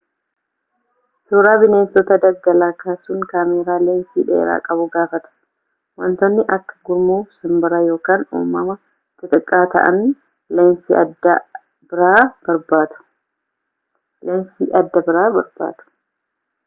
suura bineensota daggalaa kaasun kaameeraa leensii dheeraa qabu gaafata wantootni akka gurmuu simbiraa ykn uumama xixxiqqaa ta'an leensi adda biraa barbaadu